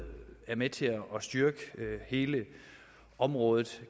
er med til at styrke hele området